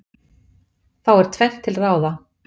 Þá er tvennt til ráða.